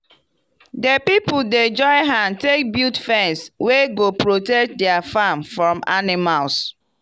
we plant legumes dem together so dat ego make gound strong as dem dey add nitrogen by demself